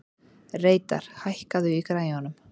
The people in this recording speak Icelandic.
Reidar, hækkaðu í græjunum.